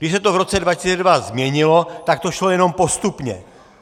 Když se to v roce 2002 změnilo, tak to šlo jenom postupně.